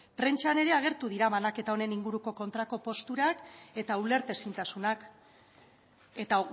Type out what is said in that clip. prentsan ere agertu dira banaketa honen inguruko kontrako posturak eta ulertezintasunak eta